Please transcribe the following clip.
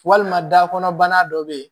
Walima dakɔnɔ bana dɔ bɛ yen